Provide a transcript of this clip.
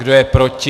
Kdo je proti?